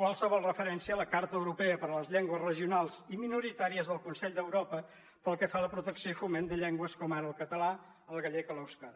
qualsevol referència a la carta europea de les llengües regionals o minoritàries del consell d’europa pel que fa a la protecció i foment de llengües com ara el català el gallec o l’eusquera